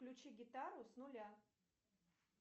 включи гитару с нуля